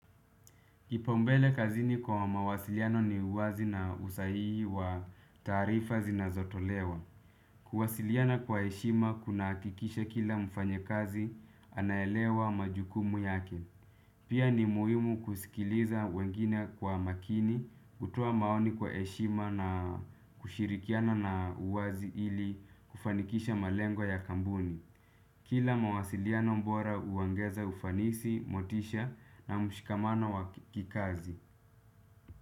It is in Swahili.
Kipaumbele kazini kwa mawasiliano ni uwazi na usahihi wa taarifa zinazotolewa. Kuwasiliana kwa heshima kunahakikisha kila mfanyakazi anaelewa majukumu yake. Pia ni muhimu kusikiliza wengine kwa makini kutoa maoni kwa heshima na kushirikiana na uwazi ili kufanikisha malengo ya kampuni. Kila mawasiliano bora huongeza ufanisi, motisha na mshikamano wa kikazi.